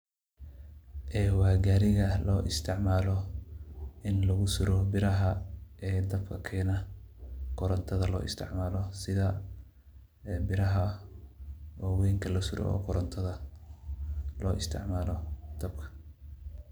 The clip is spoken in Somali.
Eee waa gariga loo isticmalo ini lagusuro biraha dabka kena korontada loo isticmalo sidhaa biraha wawenka lasuro oo korontada dabka lo isticmalo.